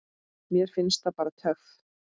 Mér finnst það bara töff.